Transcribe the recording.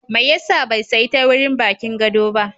Mai ya sa bai sayi teurin bakin gado ba?